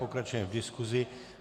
Pokračujeme v diskusi.